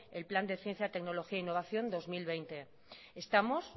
el plan de ciencia y tecnología innovación dos mil veinte estamos